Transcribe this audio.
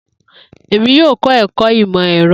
Emi yoo kọ ẹkọ Imọ-ẹrọ.